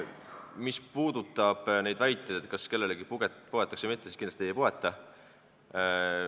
Mis puudutab väiteid, kas kellelegi poetakse või mitte, siis kindlasti ei poeta.